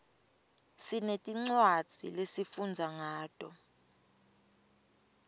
sinetincwadzi lesifundza ngato